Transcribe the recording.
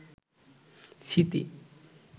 স্মৃতি